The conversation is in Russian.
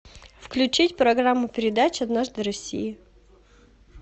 включить программу передач однажды в россии